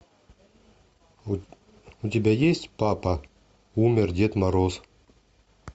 у тебя есть папа умер дед мороз